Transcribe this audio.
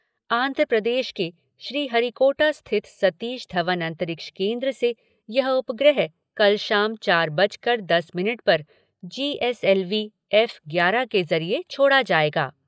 आंध्रप्रदेश के श्रीहरिकोटा स्थित सतीश धवन अंतरिक्ष केंद्र से यह उपग्रह कल शाम चार बजकर दस मिनट पर G S L V F ग्यारह के ज़रिये छोड़ा जाएगा।